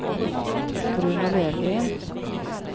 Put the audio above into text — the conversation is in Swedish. Bruno Löfgren